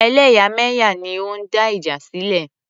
Ẹlẹ́yàmẹ̀yà ni ó ń dá ìjà sílẹ̀.